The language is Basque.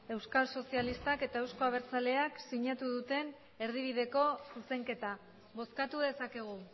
euskal sozialistak eta euzko abertzaleak sinatu duten erdibideko zuzenketa bozkatu dezakegu